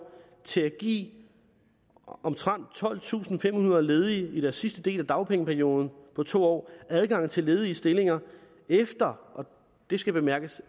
til at give omtrent tolvtusinde og femhundrede ledige i deres sidste del af dagpengeperioden på to år adgang til ledige stillinger efter og det skal bemærkes